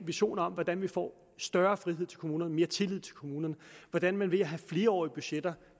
visioner om hvordan vi får større frihed til kommunerne mere tillid til kommunerne hvordan man ved at have flerårige budgetter